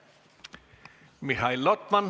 Aitäh!